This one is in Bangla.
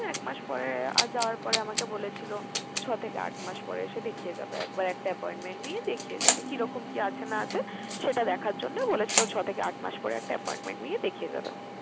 তো এক মাস পরে আর যাওয়ার পরে আমাকে বলেছিল ছয় থেকে আট মাস পরে এসে দেখিয়ে যাবে একবার, একটা appointment নিয়ে দেখিয়ে যাবে। কিরকম যে আছে না আছে, সেটা দেখার জন্য বলেছিল ছয় থেকে আট মাস পরে একটা appointment নিয়ে দেখিয়ে যাবে।